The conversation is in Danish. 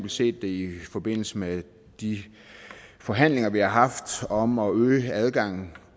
set det i forbindelse med de forhandlinger vi har haft om at øge adgangen